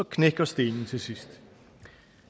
knækker stenen til sidst